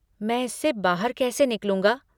मैं इससे बाहर कैसे निकलूंगा?